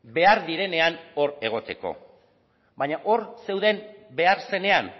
behar direnean hor egoteko baina hor zeuden behar zenean